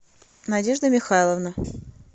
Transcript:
надежда михайловна